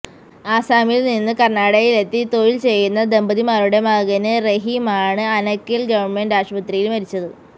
ആസാമില് നിന്ന് കര്ണാടകയിലെത്തി തൊഴില് ചെയ്യുന്ന ദമ്പതിമാരുടെ മകന് റഹീമാണ് അനകേല് ഗവണ്മെന്റ് ആശുപത്രിയില് മരിച്ചത്